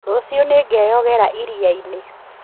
Rũciũ nĩngeoyogera iria-inĩ